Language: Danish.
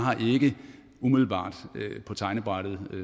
ikke umiddelbart har på tegnebrættet